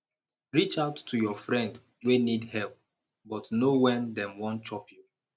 reach out to your friend wey need help but know when dem wan chop you